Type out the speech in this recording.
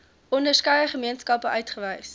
onderskeie gemeenskappe uitgewys